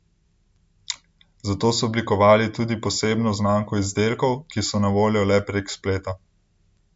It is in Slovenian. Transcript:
Zato so oblikovali tudi posebno znamko izdelkov, ki so na voljo le prek spleta.